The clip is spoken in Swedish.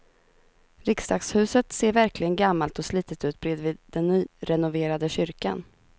Riksdagshuset ser verkligen gammalt och slitet ut bredvid den nyrenoverade kyrkan.